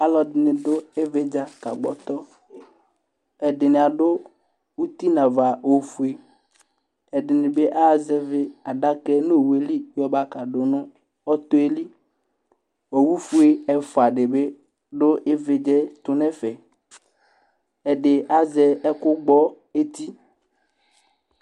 Ɔlɔdɩnɩ dʋ ɩvɩdza kagbɔtɔ; ɛdɩnɩ adʋ uti nava ofueƐdɩnɩ bɩ aɣa zɛvɩ adakɛ nowueli yɔ ba kadʋ nɔtɔɛliOwu fue ɛfʋa dɩ bɩ dʋ ɩvɩdzaɛ tʋ n' ɛfɛ, ɛdɩ azɛ ɛkʋ gbɔ eti